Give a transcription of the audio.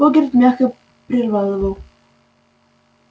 богерт мягко прервал его